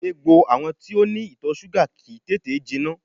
Egbò àwọn tó ní ìtọ̀ súgà kìí tètè jiná